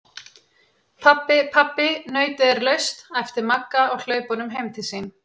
Pabbi, pabbi nautið er laust! æpti Magga á hlaupunum heim til sín.